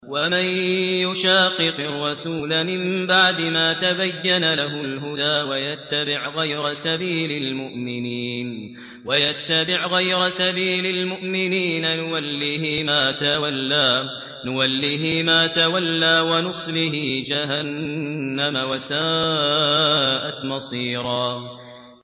وَمَن يُشَاقِقِ الرَّسُولَ مِن بَعْدِ مَا تَبَيَّنَ لَهُ الْهُدَىٰ وَيَتَّبِعْ غَيْرَ سَبِيلِ الْمُؤْمِنِينَ نُوَلِّهِ مَا تَوَلَّىٰ وَنُصْلِهِ جَهَنَّمَ ۖ وَسَاءَتْ مَصِيرًا